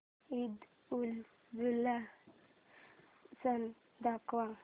ईदउलजुहा सण दाखव